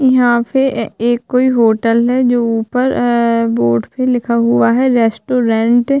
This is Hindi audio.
यहाँ पे अ-ए एक कोई होटल है जो ऊपर एैं बोर्ड पे लिखा हुआ है रेस्टोरेंट ।